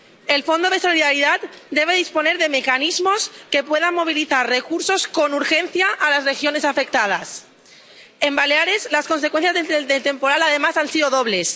El Fondo de Solidaridad debe disponer de mecanismos que puedan movilizar recursos con urgencia para las regiones afectadas. En Baleares, las consecuencias del temporal, además, han sido dobles.